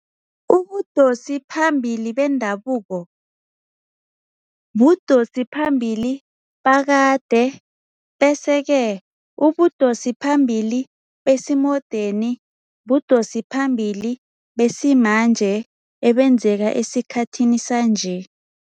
Ubudosi phambili bendabuko budosi phambili bakade bese ke ubudosi phambili besimodeni budosi phambili besimanje ebezenzeka esikhathini sanje.